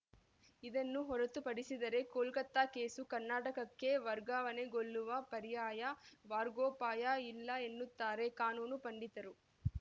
ಇದನ್ನು ಹೊರತುಪಡಿಸಿದರೆ ಕೋಲ್ಕತಾ ಕೇಸು ಕರ್ನಾಟಕಕ್ಕೆ ವರ್ಗಾವಣೆಗೊಳ್ಳುವ ಪರ್ಯಾಯ ಮಾರ್ಗೋಪಾಯ ಇಲ್ಲ ಎನ್ನುತ್ತಾರೆ ಕಾನೂನು ಪಂಡಿತರು